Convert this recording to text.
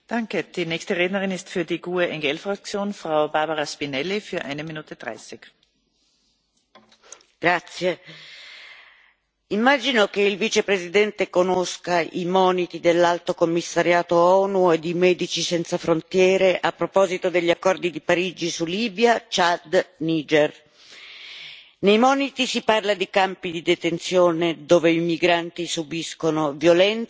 Signora Presidente, onorevoli colleghi, immagino che il Vicepresidente conosca i moniti dell'Alto commissariato dell'ONU e di Medici senza frontiere a proposito degli accordi di Parigi su Libia, Ciad e Niger. Nei moniti si parla di campi di detenzione, dove i migranti subiscono violenze e morte.